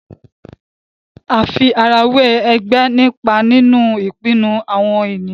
àfi ara wẹ ègbé nípa nínú ìpinnu àwọn ènìyàn